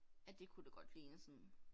Ja det kunne det godt ligne sådan